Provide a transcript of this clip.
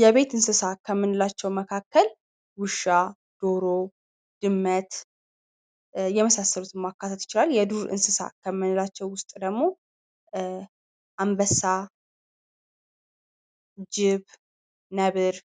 የቤት እንስሳ ከምንላቸው መካከል ውሻ ፣ዶሮ ድመት የመሳሰሉትን ማካተት ይቻላል የዱር እንስሳ ውስጥ ደግሞ አንበሳ ፣ጂብ ፣ነብር